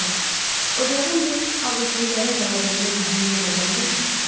Dayıcan, ocağın məhz ağüzlülərin qaldığını bu Hindu nədən bildi?